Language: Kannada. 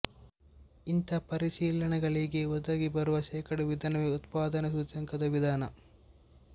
ಇಂಥ ಪರಿಶೀಲನೆಗಳಿಗೆ ಒದಗಿ ಬರುವ ಶೇಕಡಾ ವಿಧಾನವೇ ಉತ್ಪಾದನ ಸೂಚ್ಯಂಕದ ವಿಧಾನ